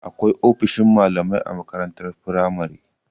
Akwai ofishin malamai a makarantar firamare.